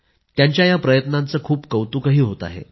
त्यांच्या या प्रयत्नांचं खूप कौतुकही होत आहे